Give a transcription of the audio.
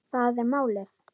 Það er málið